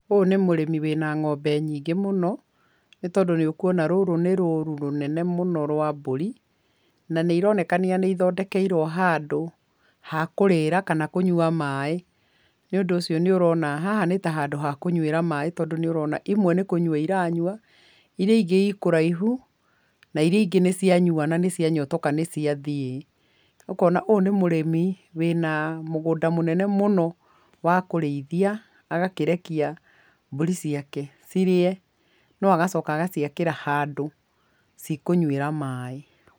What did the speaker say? Ũyũ nĩ mũrĩmi wĩna ng'ombe nyingĩ mũno, nĩ tondũ nĩ ũkwona rũrĩ nĩ rũru rũnene mũno rwa mburi na nĩ ironekana nĩ ithondekerwo handũ hakũrĩrĩra kana kũnywa maĩ. Nĩ ũndũ ũcio, nĩ ũrona haha nĩ ta handũ hakũnywĩra maĩ tondũ nĩ ũrona imwe nĩ kũnywa iranywa, iria ingĩ ikũraihu na iria ingĩ nĩ cia nyua nĩ cia nyotoka nĩ ciathiĩ. Ũkona ũyũ nĩ mũrĩmi wĩna mũgũnda mũnene mũno wakũrĩithia, agakĩrekia mbũri ciake cirie, no agacoka agaciakĩra handũ cikũnyuĩra maĩ.